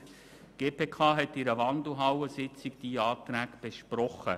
Die GPK hat diese Anträge in einer Wandelhallensitzung besprochen.